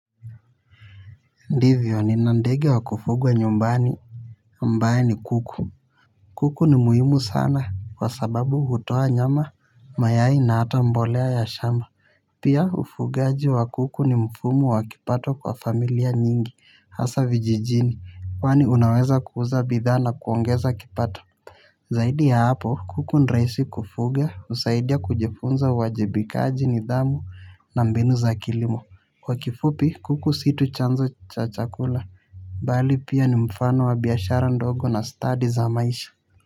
Ndivyo nina ndege wa kufugwa nyumbani ambaye ni kuku kuku ni muhimu sana kwa sababu hutoa nyama mayai na hata mbolea ya shamba pia ufugaji wa kuku ni mfumu wa kipato kwa familia nyingi hasa vijijini kwani unaweza kuuza bidhaa na kuongeza kipato zaidi ya hapo kuku nraisi kufuga usaidia kujifunza wajibikaji nidhamu na mbinu za kilimo kwa kifupi kuku situ chanzo cha chakula. Bali pia ni mfano wa biashara ndogo na study za maisha.